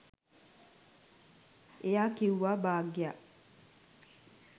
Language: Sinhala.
එයා කිව්වා භාග්‍යා